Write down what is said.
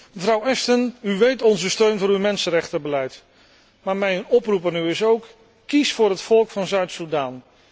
Mevrouw Ashton, u kent onze steun voor uw mensenrechtenbeleid, maar mijn oproep aan u luidt ook kies voor het volk van Zuid Soedan.